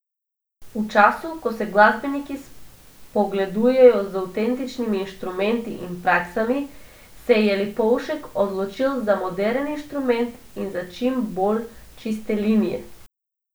V času, ko se glasbeniki spogledujejo z avtentičnimi inštrumenti in praksami, se je Lipovšek odločil za moderen inštrument in za čim bolj čiste linije.